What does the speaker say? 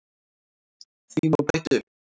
Því má bæta upp